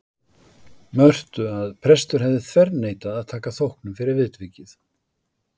Mörtu að prestur hefði þverneitað að taka þóknun fyrir viðvikið.